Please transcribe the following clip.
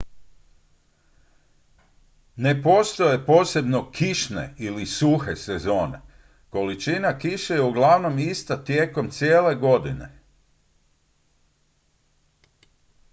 "ne postoje posebno "kišne" ili "suhe" sezone: količina kiše je uglavnom ista tijekom cijele godine.